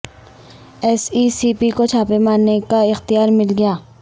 S E C P کو چھاپے مارنے کا اختیار مل گیا